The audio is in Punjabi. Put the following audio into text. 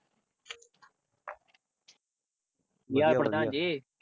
ਕੀ ਹਾਲ ਪ੍ਰਧਾਨ ਜੀ?